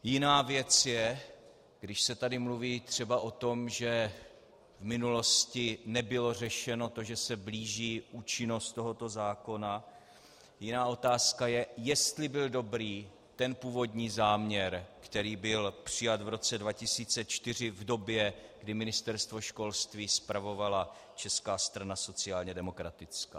Jiná věc je, když se tady mluví třeba o tom, že v minulosti nebylo řešeno to, že se blíží účinnost tohoto zákona, jiná otázka je, jestli byl dobrý ten původní záměr, který byl přijat v roce 2004 v době, kdy Ministerstvo školství spravovala Česká strana sociálně demokratická.